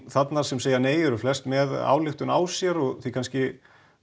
þarna sem segja nei eru flest með ályktun á sér og því kannski